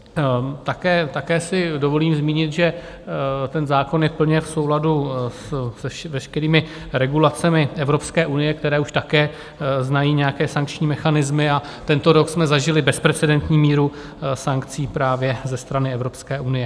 Také si dovolím zmínit, že ten zákon je plně v souladu s veškerými regulacemi Evropské unie, které už také znají nějaké sankční mechanismy, a tento rok jsme zažili bezprecedentní míru sankcí právě ze strany Evropské unie.